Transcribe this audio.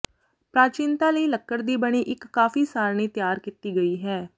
ਪ੍ਰਾਚੀਨਤਾ ਲਈ ਲੱਕੜ ਦੀ ਬਣੀ ਇੱਕ ਕਾਫੀ ਸਾਰਣੀ ਤਿਆਰ ਕੀਤੀ ਗਈ ਹੈ